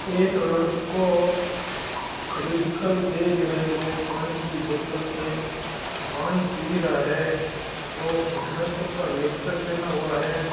एक लडको खडियो दिखाई दे रहियो है जो पानी की बोतल से पानी पि रहा है और गुटने तक का निकर पहना हुआ है।